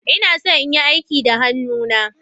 Ina so in yi aiki da hannuna.